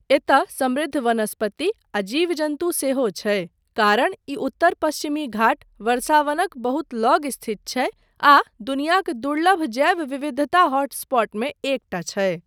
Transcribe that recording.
एतय समृद्ध वनस्पति आ जीव जन्तु सेहो छै कारण ई उत्तर पश्चिमी घाट वर्षावनक बहुत लग स्थित छै आ दुनियाक दुर्लभ जैव विविधता हॉटस्पॉटमे एकटा छै।